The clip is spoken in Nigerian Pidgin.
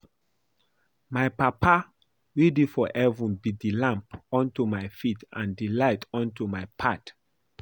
My papa wey dey for heaven be the lamp unto my feet and the light unto my path